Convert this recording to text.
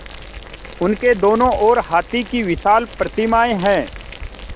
उसके दोनों ओर हाथी की विशाल प्रतिमाएँ हैं